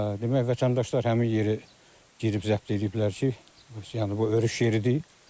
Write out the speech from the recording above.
Demək, vətəndaşlar həmin yeri girib zəbt eləyiblər ki, yəni bu örüş yeridir.